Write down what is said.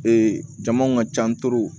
Ee jamuw ka ca